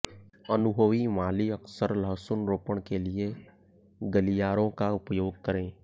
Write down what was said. अनुभवी माली अक्सर लहसुन रोपण के लिए गलियारों का उपयोग करें